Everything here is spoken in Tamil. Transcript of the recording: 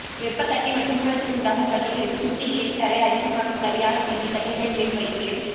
வெப்ப கட்டி மற்றும் மூலத்தில் உண்டாகும் கட்டிகளுக்கு துத்தி இலை சாறை அரிசிமாவில் களியாக கிண்டி கட்டிகளில் மேல் வைத்து